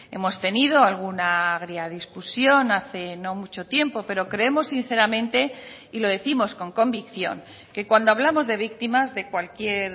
hemos tenido alguna agria discusión hace no mucho tiempo pero creemos sinceramente y lo décimos con convicción que cuando hablamos de víctimas de cualquier